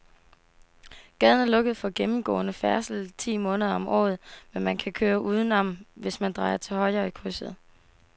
Gaden er lukket for gennemgående færdsel ti måneder om året, men man kan køre udenom, hvis man drejer til højre i krydset.